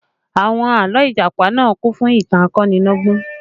Àwọn àlọ́ Ìjàpá náà kún fún ìtàn akonilọ́gbọ́n